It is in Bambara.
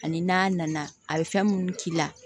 Ani n'a nana a bɛ fɛn minnu k'i la